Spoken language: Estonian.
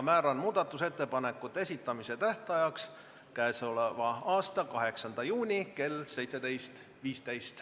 Määran muudatusettepanekute esitamise tähtajaks k.a 8. juuni kell 17.15.